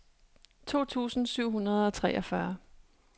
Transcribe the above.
to tusind syv hundrede og treogfyrre